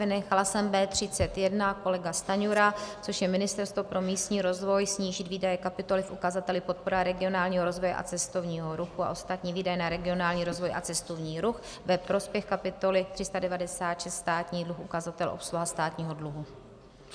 Vynechala jsem B31 - kolega Stanjura, což je Ministerstvo pro místní rozvoj, snížit výdaje kapitoly v ukazateli podpora regionálního rozvoje a cestovního ruchu a ostatní výdaje na regionální rozvoj a cestovní ruch ve prospěch kapitoly 396 Státní dluh, ukazatel obsluha státního dluhu.